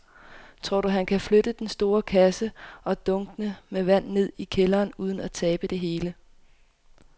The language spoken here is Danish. Tror du, at han kan flytte den store kasse og dunkene med vand ned i kælderen uden at tabe det hele?